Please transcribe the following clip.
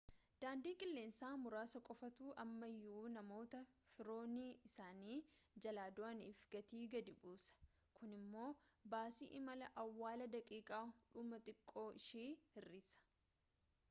daandii qilleensaa muraasa qofaatu ammayuu namoota firoonni isaanii jalaa du'aniif gatii gadi buusa kun immoo baasii imala awwaalaa daqiiqaa dhumaa xiqqoo ishii hir'isa